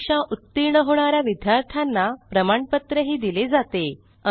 परीक्षा उत्तीर्ण होणा या विद्यार्थ्यांना प्रमाणपत्रही दिले जाते